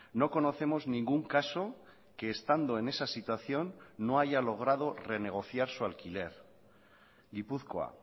no conocemos ningún caso que estando en esa situación no haya logrado renegociar su alquiler gipuzkoa